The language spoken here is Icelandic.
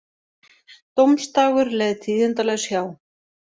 Dómsdagur leið tíðindalaus hjá